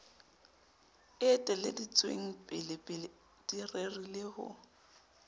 eteleditsweng pelepele di rerile ho